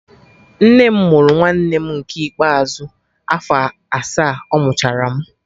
Nne m mụrụ nwanne m nke ikpeazụ afọ asaa ọmụchara m